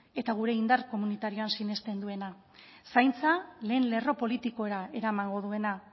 eta gure indar komunitarioan sinesten duena zaintza lehen lerro politikora eramango duena